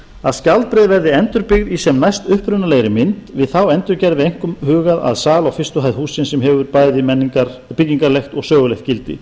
að skjaldbreið verði endurbyggð í sem næst upprunalegri mynd við þá endurgerð verði einkum hugað að sal á fyrstu hæð hússins sem hefur bæði og byggingarlegt og sögulegt gildi